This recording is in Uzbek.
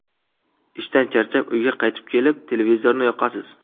Ishdan charchab, uyga qaytib kelib, televizorni yoqasiz.